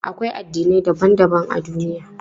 Akwai addinai daban daban a duniya.